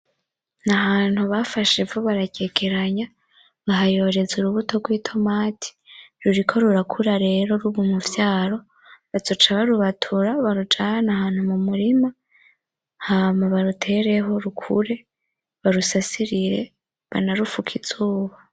Ni ahantu bafashe ivu bararyegeranya bahayoreza urubuto rw'itomati. Ruriko rurakura rero ruba umuvyaro. Bazoca barubatura barujane ahantu mu murima hama barutereho rukure, barusasirire, banarufuke izuba.